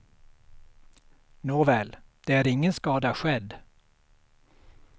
Nåväl, det är ingen skada skedd.